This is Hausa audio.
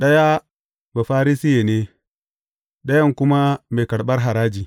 Ɗaya Bafarisiye ne, ɗayan kuma mai karɓar haraji.